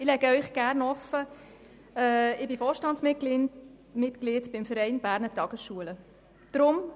Ich lege Ihnen gerne offen, dass ich Vorstandsmitglied des Vereins Berner Tageschulen (VBT) bin.